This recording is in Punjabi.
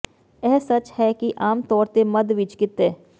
ਇਹ ਸੱਚ ਹੈ ਕਿ ਆਮ ਤੌਰ ਤੇ ਮੱਧ ਵਿਚ ਕਿਤੇ